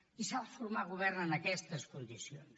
i s’ha de formar govern en aquestes condicions